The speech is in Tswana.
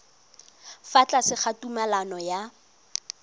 fa tlase ga tumalano ya